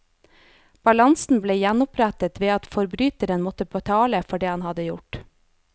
Balansen ble gjenopprettet ved at forbryteren måtte betale for det han hadde gjort.